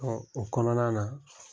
o kɔnɔna na